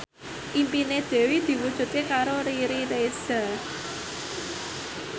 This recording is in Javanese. impine Dewi diwujudke karo Riri Reza